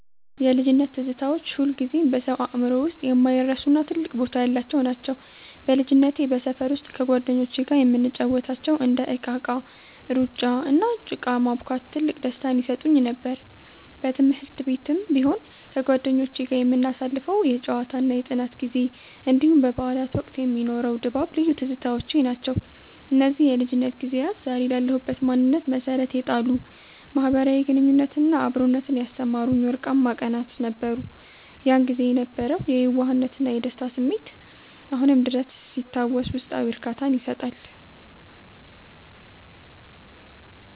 የልጅነት ትዝታዎች ሁልጊዜም በሰው አእምሮ ውስጥ የማይረሱና ትልቅ ቦታ ያላቸው ናቸው። በልጅነቴ በሰፈር ውስጥ ከጓደኞቼ ጋር የምንጫወታቸው እንደ እቃቃ፣ ሩጫ፣ እና ጭቃ ማቡካት ትልቅ ደስታን ይሰጡኝ ነበር። በትምህርት ቤትም ቢሆን ከጓደኞቼ ጋር የምናሳልፈው የጨዋታና የጥናት ጊዜ፣ እንዲሁም በበዓላት ወቅት የሚኖረው ድባብ ልዩ ትዝታዎቼ ናቸው። እነዚህ የልጅነት ጊዜያት ዛሬ ላለሁበት ማንነት መሠረት የጣሉ፣ ማኅበራዊ ግንኙነትንና አብሮነትን ያስተማሩኝ ወርቃማ ቀናት ነበሩ። ያን ጊዜ የነበረው የየዋህነትና የደስታ ስሜት አሁንም ድረስ ሲታወስ ውስጣዊ እርካታን ይሰጣል።